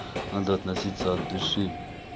надо относиться от души